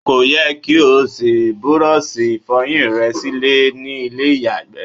Kò yẹ kí o ṣí búrọ́ọlṣì ìfọyín re sílẹ̀ ní ilé ìyàgbẹ́.